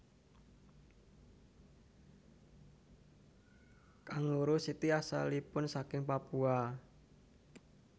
Kanguru siti asalipun saking Papua